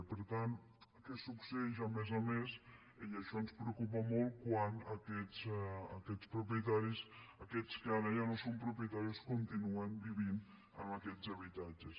i per tant què succeeix a més a més i això ens preocupa molt quan aquests propietaris aquests que ara ja no són propietaris continuen vivint en aquests habitatges